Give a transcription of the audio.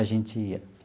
A gente ia.